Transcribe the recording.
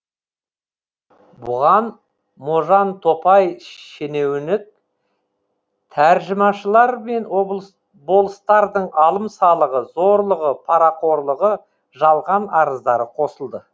бұған можантопай шенеуінік тәржімашылар мен болыстардың алым салығы зорлығы парақорлығы жалған арыздары қосылды